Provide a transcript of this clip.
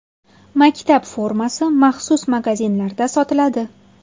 Maktab formasi maxsus magazinlarda sotiladi.